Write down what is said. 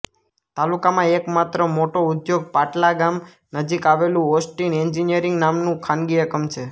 તાલુકામાં એકમાત્ર મોટો ઉદ્યોગ પાટલા ગામ નજીક આવેલું ઓસ્ટિન એન્જીનિયરીંગ નામનું ખાનગી એકમ છે